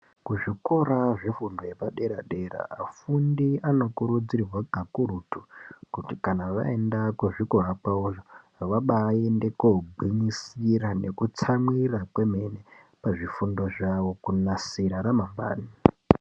Kuzvikora zvefundo zvepadera-dera vafundi anokurudzirwa kakurutu kuti kana vaenda kuzvikora kwavoyo vabaaende koogwinyisira nekutsamwirira kwemene pazvifundo zvavo kunasira ramangwani.